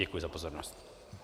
Děkuji za pozornost.